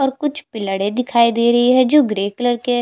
और कुछ पिल्लरे दिखाई दे रहै है जो ग्रे कलर के है।